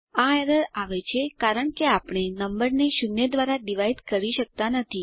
આ એરર આવે છે કારણ કે આપણે નંબરને શૂન્ય દ્વારા ડિવાઇડ કરી શકતા નથી